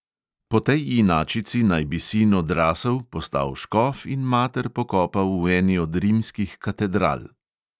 Po tej inačici naj bi sin odrasel, postal škof in mater pokopal v eni od rimskih katedral.